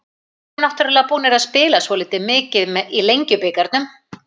Við erum náttúrulega búnar að spila svolítið mikið í Lengjubikarnum.